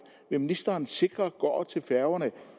vil ministeren sikre går til færgerne